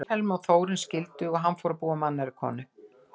Vilhelm og Þórunn skildu og hann fór að búa með annarri konu.